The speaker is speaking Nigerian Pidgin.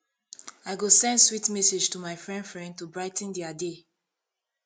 i go send sweet message to my friend friend to brigh ten dia day